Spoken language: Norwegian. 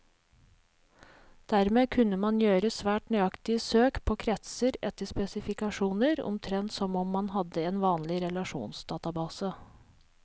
Dermed kunne man gjøre svært nøyaktige søk på kretser etter spesifikasjoner, omtrent som om man hadde en vanlig relasjonsdatabase.